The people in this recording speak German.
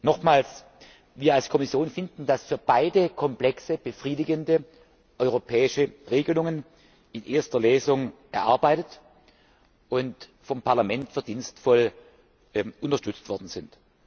Nochmals Wir als Kommission finden, dass für beide Komplexe befriedigende europäische Regelungen in erster Lesung erarbeitet und vom Parlament verdienstvoll unterstützt worden sind.